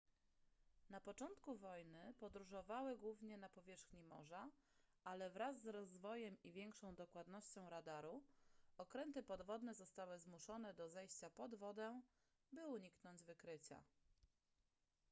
na początku wojny podróżowały głównie na powierzchni morza ale wraz z rozwojem i większą dokładnością radaru okręty podwodne zostały zmuszone do zejścia pod wodę by uniknąć wykrycia